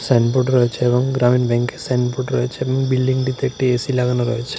Signboard রয়েছে এবং গ্রামীণ ব্যাংকের সাইনবোর্ড রয়েছে বিল্ডিংটিতে একটি এ_সি লাগানো রয়েছে।